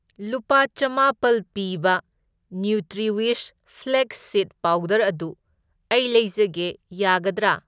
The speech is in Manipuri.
ꯂꯨꯄꯥ ꯆꯥꯝꯃꯥꯄꯜ ꯄꯤꯕ ꯅ꯭ꯌꯨꯇ꯭ꯔꯤꯋꯤꯁ ꯐ꯭ꯂꯦꯛꯁ ꯁꯤꯗ ꯄꯥꯎꯗꯔ ꯑꯗꯨ ꯑꯩ ꯂꯩꯖꯒꯦ ꯌꯥꯒꯗ꯭ꯔꯥ?